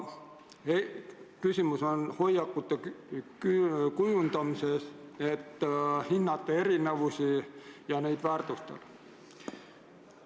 Küsimus on hoiakute kujundamises, et hinnata erinevusi ja neid väärtustada.